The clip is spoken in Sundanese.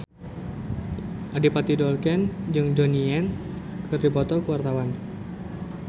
Adipati Dolken jeung Donnie Yan keur dipoto ku wartawan